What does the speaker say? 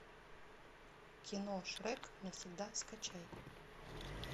кино шрек навсегда скачай